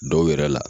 Dɔw yɛrɛ la